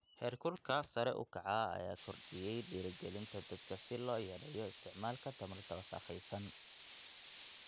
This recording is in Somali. Heerkulka sare u kaca ayaa kordhiyey dhiirigelinta dadka si loo yareeyo isticmaalka tamarta wasakhaysan.